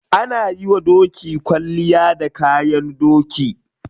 Ana yiwa doki kwalliya da kayan doki.